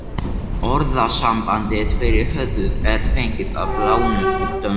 Orðasambandið yfir höfuð er fengið að láni úr dönsku.